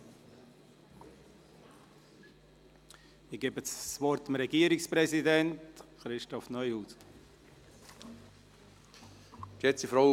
Ich gebe dem Regierungspräsidenten, Christoph Neuhaus, das Wort.